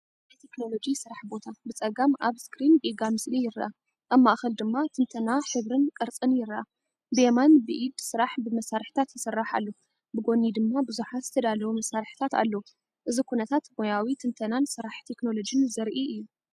ናይ ቴክኖሎጂ ስራሕ ቦታ! ብጸጋም ኣብ ስክሪን ጌጋ ምስሊ ይርአ፣ ኣብ ማእከል ድማ ትንተና ሕብርን ቅርጽን ይርአ። ብየማን፡ብኢድ ስራሕ ብመሳርሒታት ይስራሕ ኣሎ፡ ብጎኒ ድማ ብዙሓት ዝተዳለዉ መሳርሒታት ኣለዉ። እዚ ኩነታት ሞያዊ ትንተናን ስራሕ ቴክኖሎጂን ዘርኢ እዩ!